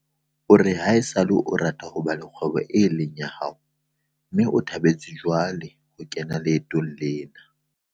o re haesale a rata ho ba le kgwebo eo e leng ya hae mme o thabetse jwale ho kena leetong lena.